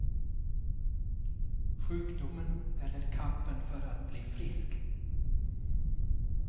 Sjukdomen eller kampen för att bli frisk.